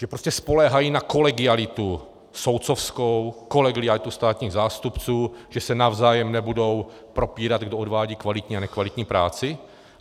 Že prostě spoléhají na kolegialitu soudcovskou, kolegialitu státních zástupců, že se navzájem nebudou propírat, kdo odvádí kvalitní a nekvalitní práci?